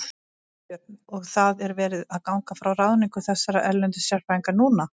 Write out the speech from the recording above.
Þorbjörn: Og það er verið að ganga frá ráðningu þessara erlendu sérfræðinga núna?